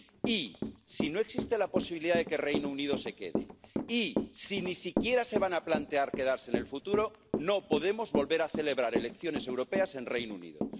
Y si no existe la posibilidad de que el Reino Unido se quede y si ni siquiera se van a plantear quedarse en el futuro, no podemos volver a celebrar elecciones europeas en Reino Unido.